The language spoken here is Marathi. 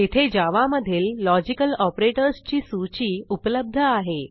येथे जावा मधील लॉजिकल operatorsची सूची उपलब्ध आहे